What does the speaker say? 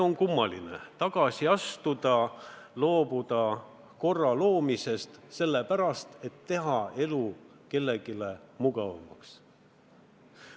On kummaline astuda tagasi, loobuda korra loomisest sellepärast, et teha kellegi elu mugavamaks.